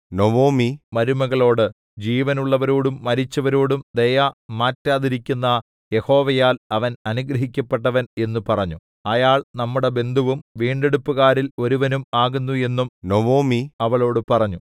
Naomi മരുമകളോട് ജീവനുള്ളവരോടും മരിച്ചവരോടും ദയ മാറ്റാതിരിക്കുന്ന യഹോവയാൽ അവൻ അനുഗ്രഹിക്കപ്പെട്ടവൻ എന്നു പറഞ്ഞു അയാൾ നമ്മുടെ ബന്ധുവും വീണ്ടെടുപ്പുകാരിൽ ഒരുവനും ആകുന്നു എന്നും നൊവൊമി അവളോടു പറഞ്ഞു